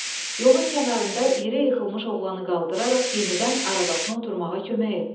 Yolun kənarında yerə yıxılmış oğlanı qaldıraraq yenidən arabasına oturmağa kömək etdi.